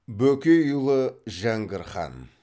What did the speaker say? бөкейұлы жәңгір хан